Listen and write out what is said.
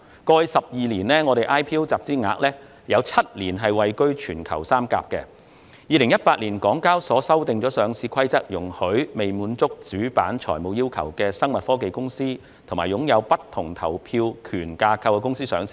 香港交易及結算所有限公司於2018年修訂《上市規則》，容許未能滿足主板財務要求的生物科技公司及擁有不同投票權架構的公司上市。